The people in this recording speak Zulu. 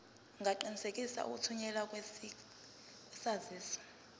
ungaqinisekisa ukuthunyelwa kwesaziso